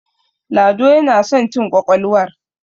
lado yana son cin ƙwaƙwalwar